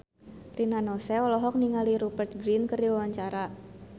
Rina Nose olohok ningali Rupert Grin keur diwawancara